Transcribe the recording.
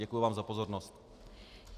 Děkuji vám za pozornost.